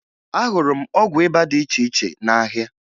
Ahụrụ m ọgwụ ịba dị iche iche n'ahịa